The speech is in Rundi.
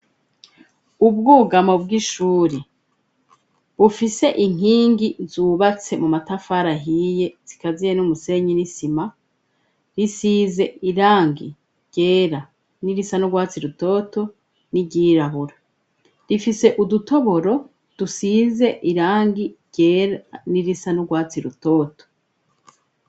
Ubwugamo bw'ishuri, bufise inkingi zubatse mu matafari ahiye zikaziye n'umusenyi n'isima, isize irangi ryera n'irisa nu rwatsi rutoto n'iryirabura .Ifise udutoboro dusize irangi ryera n'irisa n'urwatsi rutoto.